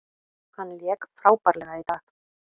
Hann lék frábærlega í dag.